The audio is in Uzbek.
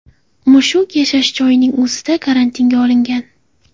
Mushuk yashash joyining o‘zida karantinga olingan.